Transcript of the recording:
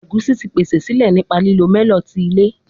Egusi ti pese sile nipa lilo melon ti ilẹ